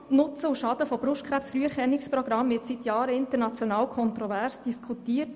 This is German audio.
Das Thema Nutzen und Schaden von Brustkrebs-Früherkennungsprogrammen wird seit Jahren international kontrovers diskutiert.